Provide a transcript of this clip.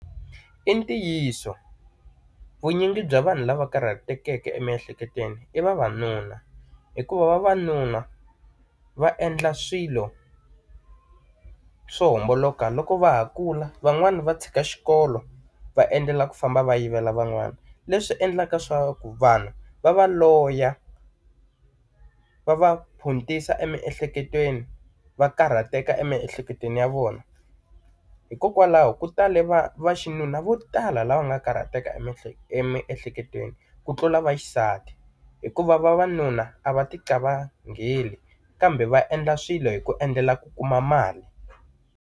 I ntiyiso vunyingi bya vanhu lava karhatekeke emiehleketweni i vavanuna, hikuva vavanuna va endla swilo swo homboloka loko va ha kula van'wani va tshika xikolo va endlela ku famba va yivela van'wana. Leswi endlaka leswaku vanhu va va loya, va va phuntisa emiehleketweni va karhateka emiehleketweni ya vona. Hikokwalaho ku tale va vaxinuna vo tala lava nga karhateka emihle emiehleketweni, ku tlula vaxisati hikuva vavanuna a va ti ka qavangheli kambe va endla swilo hi ku endlela ku kuma mali.